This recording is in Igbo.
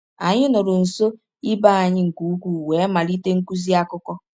Anyị nọrọ nso ibe anyị nke ukwuu wee malite nkuzi akụkọ.